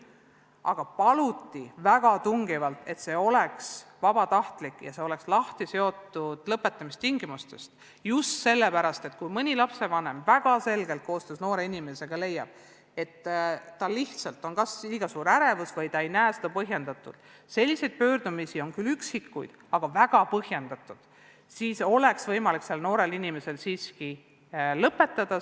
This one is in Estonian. Aga paluti väga tungivalt, et need oleksid vabatahtlikud ja seotud lahti lõpetamise tingimustest, just sellepärast, et kui mõni lapsevanem koostöös noore inimesega väga selgelt leiab, et noorel on kas lihtsalt liiga suur ärevus või lapsevanem ise ei pea seda põhjendatuks – selliseid pöördumisi on olnud küll vähe, aga need on väga põhjendatud –, siis oleks sel noorel inimesele võimalik kool ikkagi lõpetada.